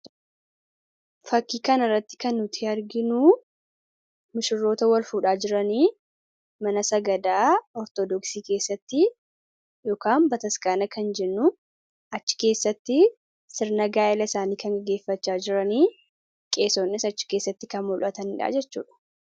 Fakkii kanarraatti kan nuti arginuu, mushurroota wal fuudhaa jiranii mana sagadaa Ortodoksi keessatti yookaan bataskaana kan jennuun achi keessatti sirna gaa'ila isaanii kan gaggeeffachaa jiranii qeesonnis achi keessatti kan mul'atanii jechuudha.